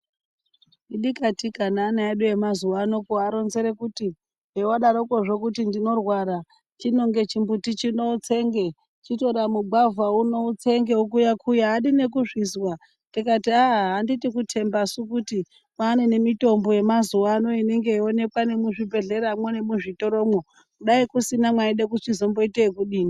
Idikatika neana edu amazuva ano kuaronzere kuti zvavadarokozvo kuti ndinorwara chinonge chimbuti chino utsenge. Chitore mugwavha uno utsenge vokuya-kuya haadi nekuzvizwa tikati haa handiti kutembasu kuti kwane nemitombo yemazuva anoonekwa nemuzvibhedhleramwo nemuzvitoromwo daikusina maida kuzomboita yekudini.